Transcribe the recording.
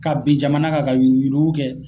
Ka bin jamana kan ka yurugu yurugu kɛ.